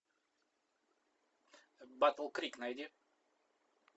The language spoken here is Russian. батл крик найди